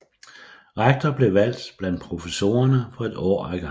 Rektor blev valgt blandt professorerne for et år ad gangen